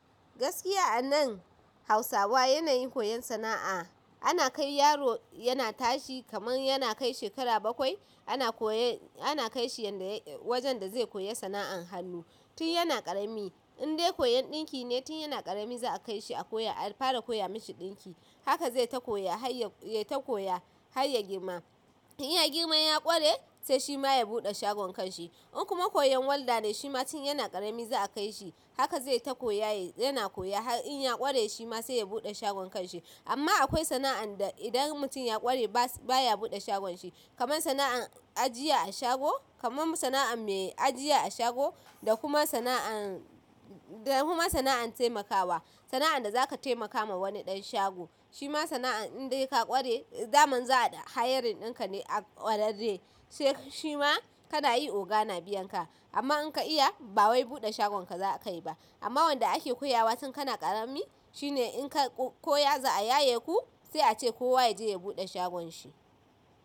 Gaskiya anan Hausawa yanayin koyon sana'a, ana kai yaro yana tashi kaman yana kai shekara bakwai ana koye, ana kai shi yanda ya-- wajen da zai koyi sana'an hannu tun yana ƙarami. In dai koyon ɗinki ne tun yana ƙarami za a kai shi a koyo, a fara koya mashi ɗinki. Haka zai ta koya har ya, ya ta koya har ya girma. In ya girma ya ƙware sai shi ma ya buɗe shagon kanshi. In kuma koyan walda ne shi ma tun yana ƙarami za a kai shi. Haka zai ta koya yana koya har in ya ƙware shi ma sai ya buɗe shagon kanshi. Amma akwai sana'an da idan mutum ya ƙware baya buɗe shagon shi kaman sana'an ajiya a shago, kaman sana'an mai ajiya a shago da kuma sana'an, da kuma sana'an taimakawa. Sana'an da zaka taimaka ma wani ɗan shago. Shi ma sana'an in dai ka ƙware daman za'a hayarin ɗinka ne a kwararrai saik shi ma kana yi oga na biyan ka amma in ka iya ba wai buɗe shagon ka za akai ba. Amma wanda ake koya wa tun kana ƙarami shi ne in ka koya za a yaye ku sai a ce kowa ya je ya buɗe shagon shi.